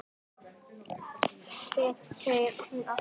Mér segir hún allt